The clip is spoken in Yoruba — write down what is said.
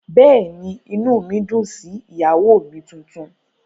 Bẹ́ẹ̀ ni, inú mi dùn sí ìyàwó mi tuntun